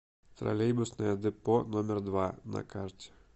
троллейбусное депо номер два на карте